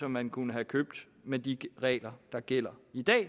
man kunne have købt med de regler der gælder i dag